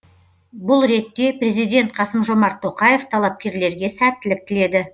бұл ретте президент қасым жомарт тоқаев талапкерлерге сәттілік тіледі